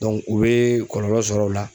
u be kɔlɔlɔ sɔrɔ o la.